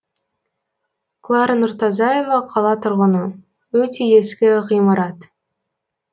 клара нұртазаева қала тұрғыны өте ескі ғимарат